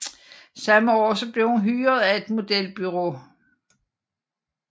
Samme år blev hun hyret af et modelbureau